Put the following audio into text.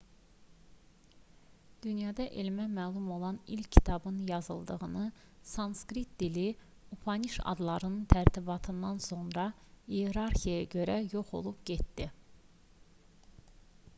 dünyada elmə məlum olan ilk kitabın yazıldığı sanskrit dili upanişadların tərtibatından sonra iyerarxiyaya görə yox olub getdi